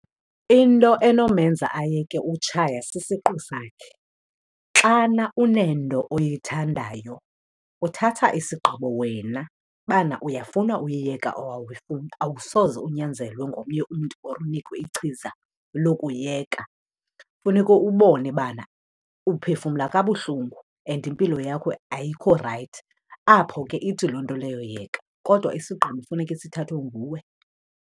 Into enomenza ayeke utshaya sisiqu sakhe. Xana unento oyithandayo, uthatha isigqibo wena bana uyafuna uyiyeka or awuyifuni, awusoze unyanzelwe ngomnye mntu or unikwe ichiza lokuyiyeka. Funeke ubone bana uphefumla kabuhlungu and impilo yakho ayikho rayithi, apho ke ithi loo nto leyo yeka. Kodwa isigqibo funeke sithathwe nguwe.